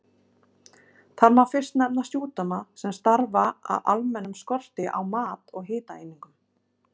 Þar má fyrst nefna sjúkdóma sem stafa af almennum skorti á mat eða hitaeiningum.